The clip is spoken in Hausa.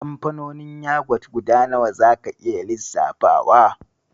Kamfanonin yagwat guda nawa zaka iya lissafowa?